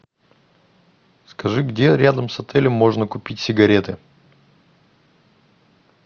скажи где рядом с отелем можно купить сигареты